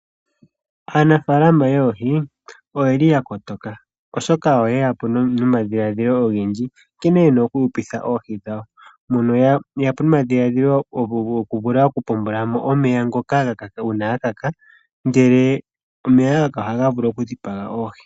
Aanafaalama yoohi oyeli ya kotoka oshoka oyeya po nomadhiladhilo ogendji nkene yena oku hupitha oohi dhawo, mono yeya po nomadhiladhilo goku vula okupombola mo omeya ngoka uuna ga kaka ngele omeya ga kaka ohaga vulu okudhipaga oohi.